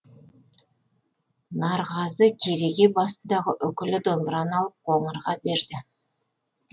нарғазы кереге басындағы үкілі домбыраны алып қоңырға берді